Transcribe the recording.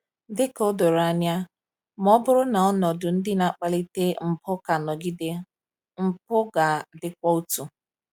Dị ka o doro anya, ma ọ bụrụ na ọnọdụ ndị na-akpalite mpụ ka nọgide, mpụ ga-adịkwa otu.